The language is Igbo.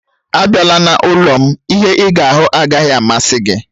Abịala n'ụlọ m, ihe ịga ahụ agaghị amasị gị